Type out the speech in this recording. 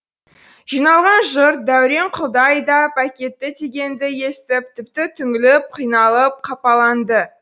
жиналған жұрт дәуренқұлды айдап әкетті дегенді естіп тіпті түңіліп қиналып қапаланды